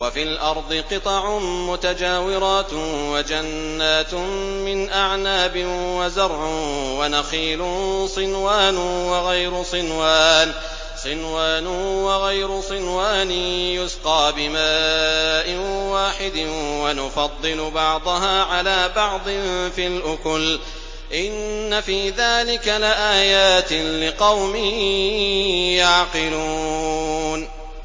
وَفِي الْأَرْضِ قِطَعٌ مُّتَجَاوِرَاتٌ وَجَنَّاتٌ مِّنْ أَعْنَابٍ وَزَرْعٌ وَنَخِيلٌ صِنْوَانٌ وَغَيْرُ صِنْوَانٍ يُسْقَىٰ بِمَاءٍ وَاحِدٍ وَنُفَضِّلُ بَعْضَهَا عَلَىٰ بَعْضٍ فِي الْأُكُلِ ۚ إِنَّ فِي ذَٰلِكَ لَآيَاتٍ لِّقَوْمٍ يَعْقِلُونَ